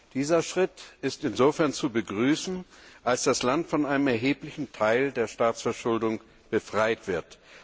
Dieser Schritt ist insofern zu begrüßen, als das Land von einem erheblichen Teil der Staatsverschuldung befreit wird.